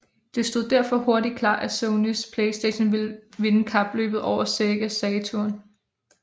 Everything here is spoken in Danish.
Det stod derfor hurtigt klart at Sonys Playstation ville vinde kapløbet over Sega Saturn